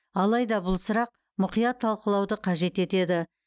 алайда бұл сұрақ мұқият талқылауды қажет етеді